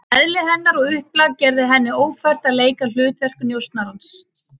Eðli hennar og upplag gerði henni ófært að leika hlutverk njósnarans.